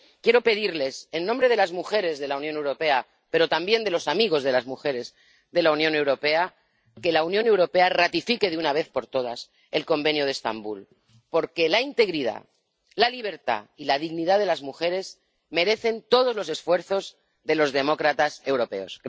Quiero pedirles, en nombre de las mujeres de la Unión Europea, pero también de los amigos de las mujeres de la Unión Europea, que la Unión Europea ratifique, de una vez por todas, el Convenio de Estambul, porque la integridad, la libertad y la dignidad de las mujeres merecen todos los esfuerzos de los demócratas europeos.